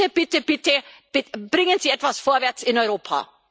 Bitte, bitte, bitte, bringen Sie etwas vorwärts in Europa!